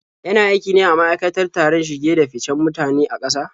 Yana aiki ne a ma'aikatar tsaron shige-da-ficen mutane na ƙasa?